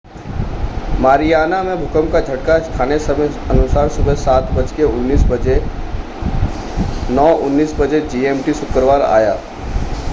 Mariana में भूकंप का झटका स्थानीय समयानुसार सुबह 07:19 बजे 09:19 बजे जीएमटी शुक्रवार आया।